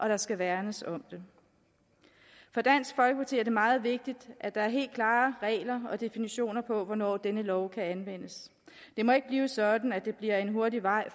der skal værnes om dem for dansk folkeparti er det meget vigtigt at der er helt klare regler og definitioner på hvornår denne lov kan anvendes det må ikke blive sådan at det bliver en hurtig vej